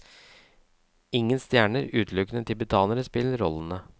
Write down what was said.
Ingen stjerner, utelukkende tibetanere spiller rollene.